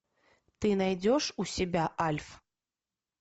ты найдешь у себя альф